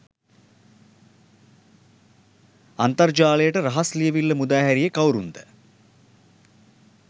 අන්තර් ජාලයට රහස් ලියවීල්ල මුදා හැරියෙ කවුරුන්ද?